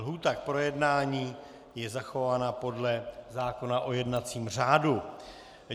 Lhůta k projednání je zachována podle zákona o jednacím řádu.